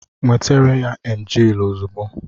Nwetere ya emgyl ozugbo!